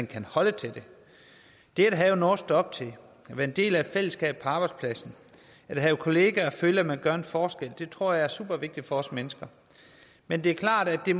kan holde til det det at have noget at stå op til at være en del af et fællesskab på arbejdspladsen at have kollegaer og føle at man gør en forskel tror jeg er supervigtigt for os mennesker men det er klart at det